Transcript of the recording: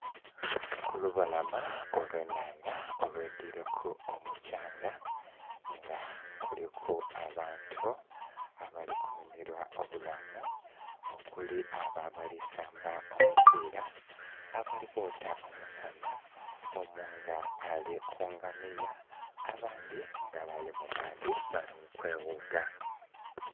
Kulubalama olw'ennhandha olwidhwileku omukyanga nga kuliku abantu abali kunhumilwa obulamu okuli abo abali samba omupiila, abali kwota omusana, omu nga ali ku ngamiya, abandhi nga bali mu maadhi bali mu kweghuga.